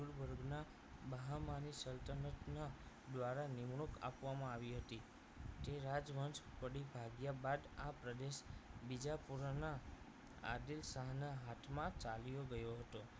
મહામારી સલ્તનતના દ્વારા નિમણૂક આપવામાં આવી હતી તે રાજમંચ પડી ભાગ્યા બાદ આ પ્રદેશ બીજાપુરાના આદિલ શાહ ના હાથમાં ચાલ્યો ગયો હતો